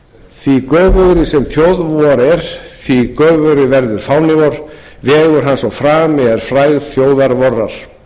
því göfugri sem þjóð vor er því göfugri verður fáni vor vegur hans og frami er frægð þjóðar